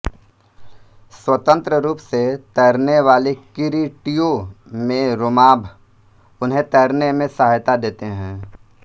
स्वतंत्र रूप से तैरनेवाले किरीटियों में रोमाभ उन्हें तैरने में सहायता देते हैं